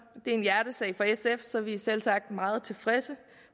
det er en hjertesag for sf så vi er selvsagt meget tilfredse